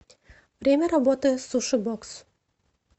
время работы суши бокс